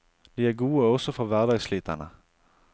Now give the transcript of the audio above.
De er gode også for hverdagssliterne.